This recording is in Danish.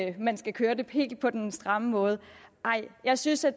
at man skal køre det helt på den stramme måde jeg synes at